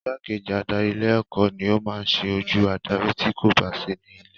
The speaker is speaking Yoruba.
Igbákejì adarí ilé ẹ̀kọ́ ni o maá ṣe ojú adarí ti kò ba sí ní ilé